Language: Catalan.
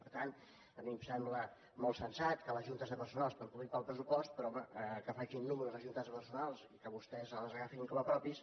per tant a mi em sembla molt sensat que les juntes de personal es preocupin pel pressupost però home que facin números les juntes de personal i que vostès els agafin com a propis